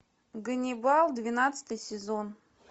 ганнибал двенадцатый сезон